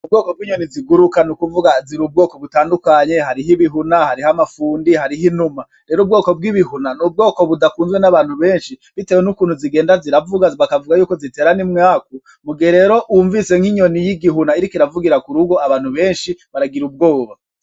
Ubwoko bw'inyoni ziguruka n'ukuvuga zir'ubwoko butandukanye, harih''ibihuna, aharih'amafundi harih'inuma, rero ubwoko bw'ibihuna n'ubwoko budakwunzwe n'abantu benshi bitewe n'ukuntu zigenda ziravuga bakavuga yuko zitera n'umwaku, mugihe rero wumvise nk'inyoni y'igihuna iriko iravugira k'urugo abantu benshi baragir'ubwoba.